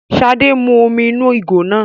ṣade mú omí inú ìgò náà